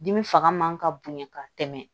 Dimi fanga man ka bonya ka tɛmɛ